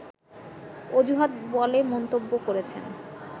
অজুহাত বলে মন্তব্য করেছেন